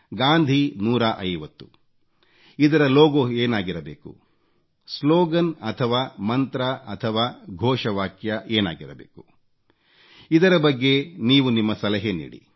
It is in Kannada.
ಗಾಂಧಿ 150 ಇದರ ಲೋಗೋ ಏನಾಗಿರಬೇಕು ಸ್ಲೋಗನ್ ಅಥವಾ ಮಂತ್ರ ಅಥವಾ ಘೋಷ ವಾಕ್ಯ ಏನಾಗಿರಬೇಕು ಇದರ ಬಗ್ಗೆ ನೀವು ನಿಮ್ಮ ಸಲಹೆ ನೀಡಿ